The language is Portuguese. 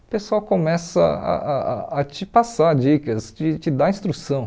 o pessoal começa ah ah ah a te passar dicas, te te dar instrução.